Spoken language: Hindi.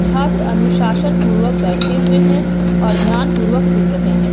छात्र अनुशासन पूर्वक बैठे हुए हैं और ध्यान पूर्वक सुन रहे हैं।